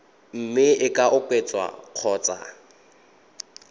mme e ka oketswa kgotsa